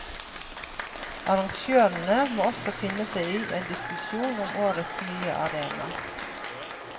Arrangørene må også finne seg i en diskusjon om årets nye arena.